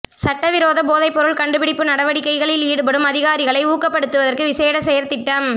சட்டவிரோத போதைப்பொருள் கண்டுபிடிப்பு நடவடிக்கைளில் ஈடுபடும் அதிகாரிகளை ஊக்கப்படுத்துவதற்கு விசேட செயற்திட்டம்